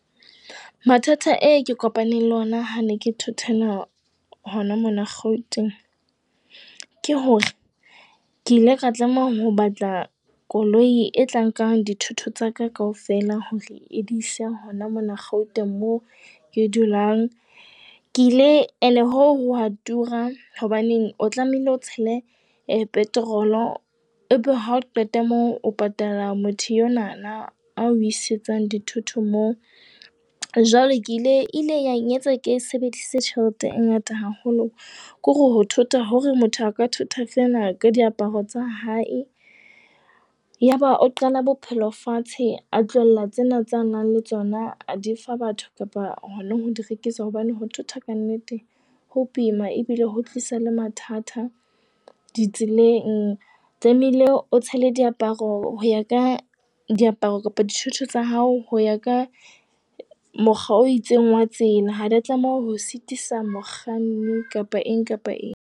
Mathata e ke kopaneng le ona ha ne ke thotwana hona mona Gauteng, ke hore ke ile ka tlameha ho batla koloi e tlang nkang dithoto tsa ka kaofela, hore e di ise hona mona Gauteng moo ke dulang. Ke ile and hoo ho wa tura. Hobaneng o tlamehile o tshele petrol, ebe ha o qeta moo o patala motho enwana a o isetsang dithoto moo. Jwale ke ile e ile ya nketsa ke sebedise tjhelete e ngata haholo. Ke hore ho thota hore motho a ka thota fela ka diaparo tsa hae. Yaba o qala bophelo fatshe a tlohella tsena tsa nang le tsona a di fa batho kapa hona ho di rekisa hobane ho thota ka nnete ho boima ebile ho tlisa le mathata di tseleng. Tlameile o tshele diaparo ho ya ka diaparo kapa dithoto tsa hao ho ya ka mokgwa o itseng wa tsela, ha di a tlameha ho sitisa mokganni kapa eng kapa eng.